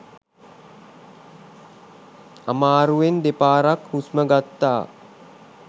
අමාරුවෙන් දෙපාරක් හුස්ම ගත්තා